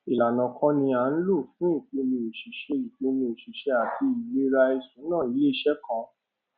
ìlànà kan ni a ń lò fún ìpinnu ìṣiṣẹ ìpinnu ìṣiṣẹ àti ìlera ìṣúná iléiṣẹ kan